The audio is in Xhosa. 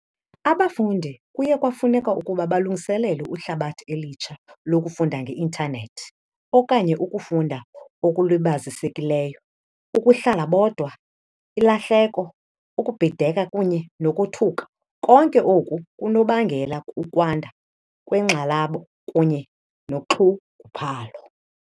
Abafundi kuye kwafuneka ukuba balungiselele ihlabathi elitsha lokufunda nge-intanethi okanye ukufunda okulibazisekileyo, ukuhlala bodwa, ilahleko, ukubhideka kunye nokothuka, konke oku kunobangela ukwanda kwenkxalabo kunye nonxunguphalo.